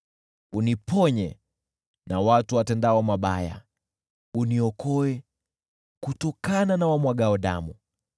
Uniponye na watu watendao mabaya, uniokoe kutokana na wamwagao damu.